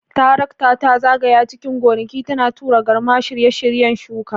Tarakta ta zagaya cikin gonaki, tana tura garma a shirye-shiryen shuka.